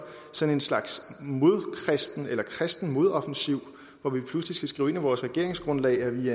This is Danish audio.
sådan en slags kristen modoffensiv hvor vi pludselig skal skrive ind i vores regeringsgrundlag at vi